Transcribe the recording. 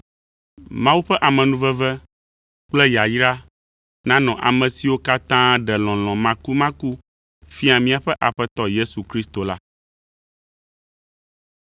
Mawu ƒe amenuveve kple yayra nanɔ ame siwo katã ɖe lɔlɔ̃ makumaku fia míaƒe Aƒetɔ Yesu Kristo la.